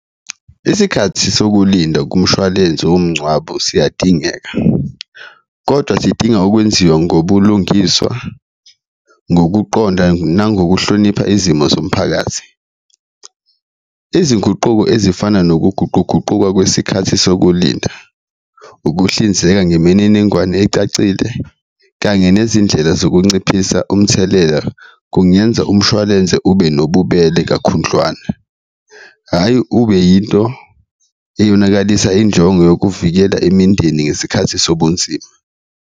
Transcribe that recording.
Isikhathi sokulinda kumshwalense womngcwabo siyadingeka kodwa sidinga ukwenziwa ngobulungiswa, ngokuqonda, nangokuhloniphana izimo zomphakathi, izinguquko ezifana nokuguquguquka kwesikhathi sokulinda, ukuhlinzeka ngemininingwane ecacile kanye nezindlela zokunciphisa umthelela kungenza umshwalense ube nobubele kakhundlwana. Hhayi ube yinto eyonakalisa injongo yokuvikela imindeni ngesikhathi sobunzima.